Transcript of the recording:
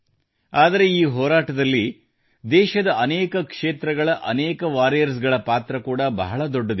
ಆದರೆ ಈ ಹೋರಾಟದಲ್ಲಿದೇಶದ ಅನೇಕ ಕ್ಷೇತ್ರಗಳ ಅನೇಕ ವಾರಿಯರ್ಸ್ ಗಳ ಪಾತ್ರ ಕೂಡಾ ಬಹಳ ದೊಡ್ಡದಿದೆ